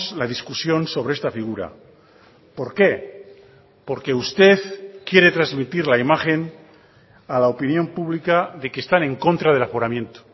la discusión sobre esta figura por qué porque usted quiere transmitir la imagen a la opinión pública de que están en contra del aforamiento